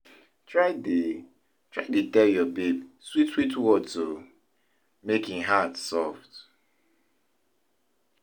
try dey try dey tel yur baby swit swit words o mek em heart soft